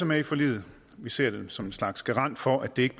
med i forliget vi ser det som en slags garant for at der ikke